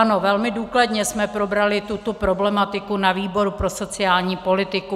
Ano, velmi důkladně jsme probrali tuto problematiku na výboru pro sociální politiku.